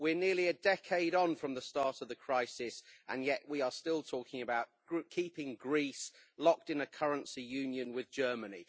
We are nearly a decade on from the start of the crisis and yet we are still talking about keeping Greece locked in a currency union with Germany.